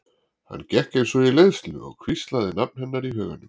Hann gekk eins og í leiðslu og hvíslaði nafn hennar í huganum.